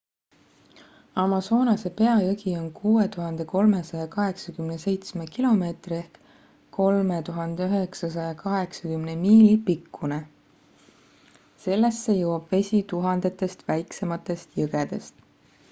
amazonase peajõgi on 6387 km 3980 miili pikkune. sellesse jõuab vesi tuhandetest väiksematest jõgedest